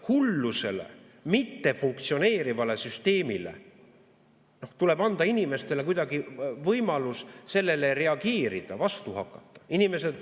Tuleb anda inimestele võimalus hullusele, mittefunktsioneerivale süsteemile reageerida, vastu hakata.